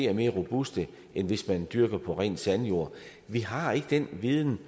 det mere robust end hvis man dyrker på ren sandjord vi har ikke den viden